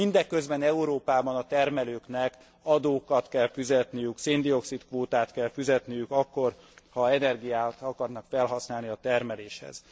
Mindeközben Európában a termelőknek adókat kell fizetniük, széndioxid kvótát kell fizetniük akkor, ha energiát akarnak felhasználni a termeléshez.